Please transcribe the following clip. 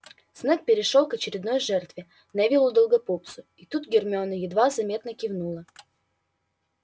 снегг перешёл к очередной жертве невиллу долгопупсу и тут гермиона едва заметно кивнула